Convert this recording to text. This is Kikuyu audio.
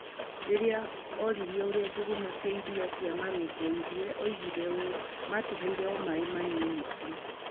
Rĩrĩa oririo ũrĩa njũgũma icio cia iria cia maamarũmbũirie, oigire ũũ: "Maatũheire o maĩ manini tu.